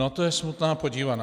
Na to je smutná podívaná.